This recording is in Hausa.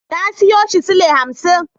Na siyo shi sule hamsin.